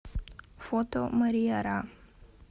фото мария ра